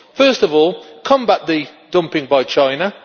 First of all, combat the dumping by China.